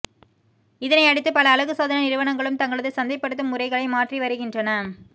இதனையடுத்து பல அழகுசாதன நிறுவனங்களும் தங்களது சந்தைப்படுத்தும் முறைகளை மாற்றி வருகின்றன